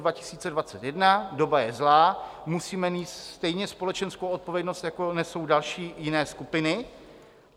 Doba je zlá, musíme nést stejně společenskou odpovědnost, jako nesou další jiné skupiny.